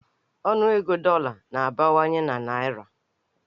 Ọnụego dọla na-abawanye na naịra.